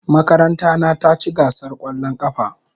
Makaranta na ta ci gasar kwallon kafa.